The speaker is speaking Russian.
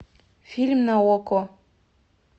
фильм на окко